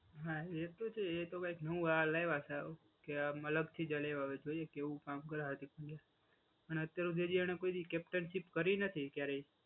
હા એ તો છે એ તો કઈંક નવો આ લાવ્યા છે ક્યા મતલબ હવે જોઈએ કેવું કામ કરે હાર્દિક પંડ્યા અને અત્યાર સુધી એને કોઈ દિવસ કેપ્ટનશીપ કરી નથી ક્યારેય.